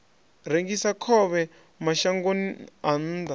rengisa khovhe mashangoni a nnḓa